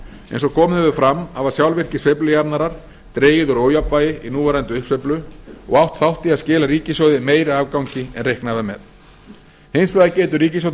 eins og komið hefur fram hafa sjálfvirkir sveiflujafnarar dregið úr ójafnvægi í núverandi uppsveiflu og átt þátt í að skila ríkissjóði meiri afgangi en reiknað var með hins vegar getur ríkisstjórnin